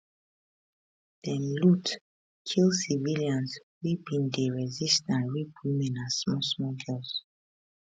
dem loot kill civilians wey bin dey resist and rape women and smallsmall girls